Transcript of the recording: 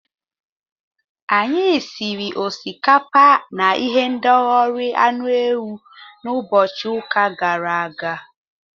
Anyị siri osikapa na ihendori anụ ewu n'ụbọchị ụka gara aga.